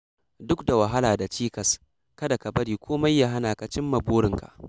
Duk da wahala da cikas, kada ka bari komai ya hana ka cimma burinka.